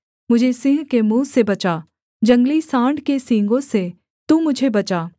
मुझे सिंह के मुँह से बचा जंगली साँड़ के सींगों से तू मुझे बचा